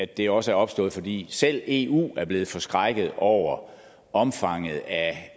det også er opstået fordi selv eu er blevet forskrækket over omfanget af